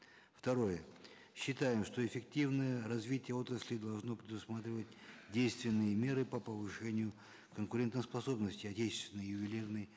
второе считаем что эффективное развитие отрасли должно предусматривать действенные меры по повышению конкурентоспособности отечественной ювелирной